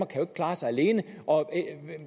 kan klare sig alene og at